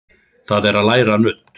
Það er að læra nudd.